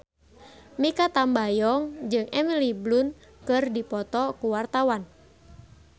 Mikha Tambayong jeung Emily Blunt keur dipoto ku wartawan